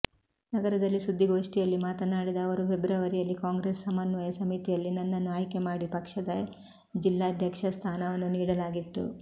ನಗರದಲ್ಲಿ ಸುದ್ದಿಗೋಷ್ಠಿಯಲ್ಲಿ ಮಾತನಾಡಿದ ಅವರು ಫೆಬ್ರವರಿಯಲ್ಲಿ ಕಾಂಗ್ರೆಸ್ ಸಮನ್ವಯ ಸಮಿತಿಯಲ್ಲಿ ನನ್ನನ್ನು ಆಯ್ಕೆ ಮಾಡಿ ಪಕ್ಷದ ಜಿಲ್ಲಾಧ್ಯಕ್ಷ ಸ್ಥಾನವನ್ನು ನೀಡಲಾಗಿತ್ತು